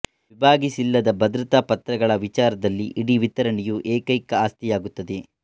ವಿಭಾಗಿಸಿಲ್ಲದ ಭದ್ರತಾ ಪತ್ರಗಳ ವಿಚಾರದಲ್ಲಿ ಇಡೀ ವಿತರಣೆಯು ಏಕೈಕ ಆಸ್ತಿಯಾಗುತ್ತದೆ